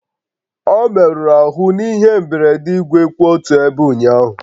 Ọ merụrụ ahụ n'ihe mberede igwe kwụ otu ebe ụnyaahụ